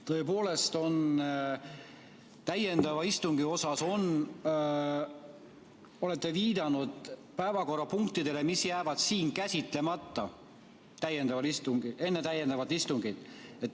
Tõepoolest, täiendava istungi puhul olete te viidanud päevakorrapunktidele, mis jäävad siin käsitlemata, enne täiendavat istungit.